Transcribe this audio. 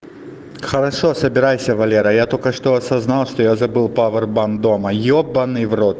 хорошо собирайся валера я только что осознал что я забыл повер банк дома ебанный